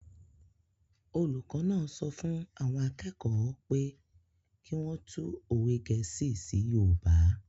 Olùkọ́ náà sọ fún àwọn akẹ́kọ̀ọ́ pé kí wọ́n tú òwe gẹ̀ẹ́sì sí yoòbá